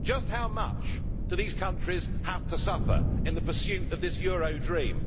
Just how much do these countries have to suffer in the pursuit of this euro dream?